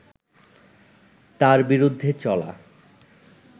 তার বিরুদ্ধে চলা